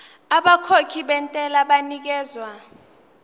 abakhokhi bentela banikezwa